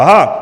Aha!